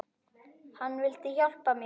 Hann vildi hjálpa mér.